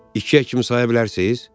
İkiyə kimi saya bilərsiniz?